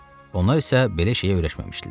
Onlar isə belə şeyə öyrəşməmişdilər.